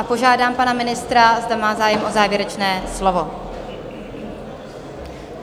A požádám pana ministra, zda má zájem o závěrečné slovo?